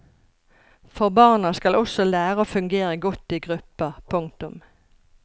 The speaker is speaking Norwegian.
For barna skal også lære å fungere godt i grupper. punktum